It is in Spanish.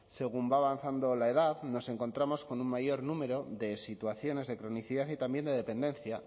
según va avanzando la edad nos encontramos con un mayor número de situaciones de cronicidad y también de dependencia